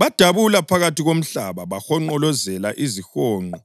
Badabula phakathi komhlaba bahonqolozela izihonqo